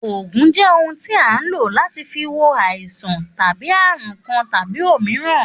Ògùn jẹ́ ohun tí a hun ló láti fi wo àisan tàbi àrun Kan tàbi òmíràn.